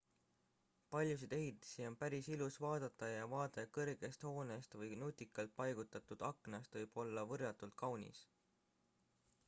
paljusid ehitisi on päris ilus vaadata ja vaade kõrgest hoonest või nutikalt paigutatud aknast võib olla võrratult kaunis